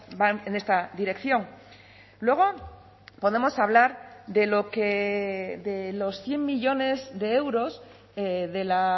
van en esta dirección luego podemos hablar de lo que de los cien millónes de euros de la